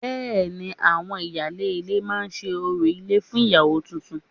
Bẹ́ẹ̀ ni, àwọn ìyáálé ilé máa ṣe orò ilé fún ìyàwó tuntun